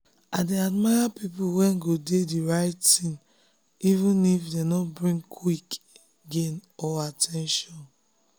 i dey admire people wey go do the right thing even if e no bring quick gain or at ten tion.